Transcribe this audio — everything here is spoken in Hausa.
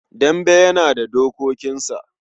Dambe yana da dokokinsa.